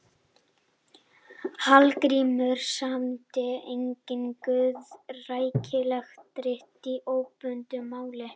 Hallgrímur samdi einnig guðrækileg rit í óbundnu máli.